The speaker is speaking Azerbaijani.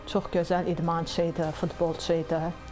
Çox gözəl idmançı idi, futbolçu idi.